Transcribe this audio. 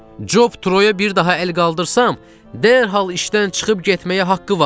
Job Troyə bir daha əl qaldırsam, dərhal işdən çıxıb getməyə haqqı var.